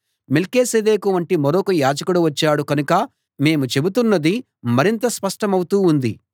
మెల్కీసెదెకు వంటి మరొక యాజకుడు వచ్చాడు కనుక మేము చెబుతున్నది మరింత స్పష్టమవుతూ ఉంది